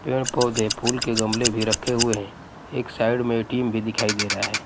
पेड़-पौधे फूल के गमले भी रखे हुए है। एक साइड में टीम भी दिखाई दे रहा है।